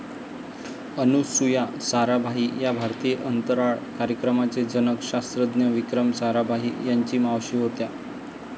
अनुसूया साराभाई या भारतीय अंतराळ कार्यक्रमाचे जनक शास्त्रज्ञ विक्रम साराभाई यांची मावशी होत्या.